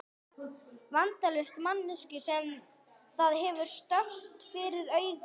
Vandalausa manneskju sem það hefur stöðugt fyrir augunum.